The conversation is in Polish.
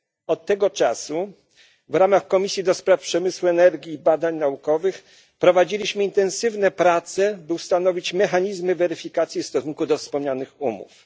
Od tego czasu w ramach Komisji Przemysłu, Energii i Badań Naukowych prowadziliśmy intensywne prace, by ustanowić mechanizmy weryfikacji w stosunku do wspomnianych umów.